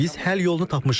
Biz həll yolunu tapmışıq.